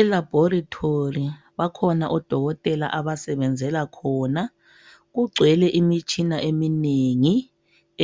Elabhorithori bakhona odokotela abasebenzela khona, kugcwele imitshina eminengi